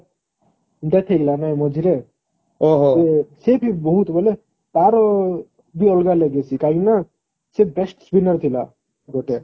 death ହେଲା ନା ମଝିରେ ସିଏ ବି ବହୁତ ବୋଇଲେ ତାର ବି ଅଲଗା legacy କାହିଁକି ନା ସେ best spinner ଥିଲା ଗୋଟେ